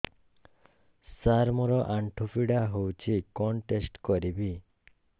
ସାର ମୋର ଆଣ୍ଠୁ ପୀଡା ହଉଚି କଣ ଟେଷ୍ଟ କରିବି